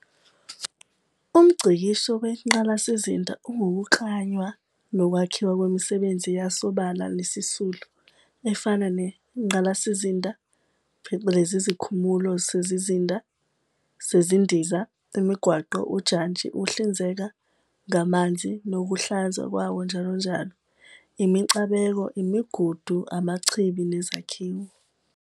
UmNgcikisho weNgqalasizinda ungukuklanywa nokwakhiwa kwemisebenzi yasobala nesisulu, efana nengqalasizinda, phecelezi izikhumulo zezindiza, imigwaqo, ujantshi, ukuhlinzeka ngamanzi nokuhlanzwa kwawo njll, imicabeko, imigudu, amachibi, nezakhiwo.